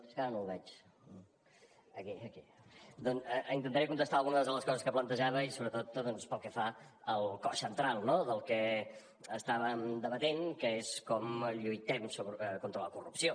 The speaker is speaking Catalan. és que ara no el veig ah aquí aquí doncs intentaré contestar algunes de les coses que plantejava i sobretot pel que fa al cos central del que estàvem debatent que és com lluitem contra la corrupció